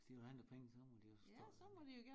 Hvis de vil have nogle penge så må de de også stå dernede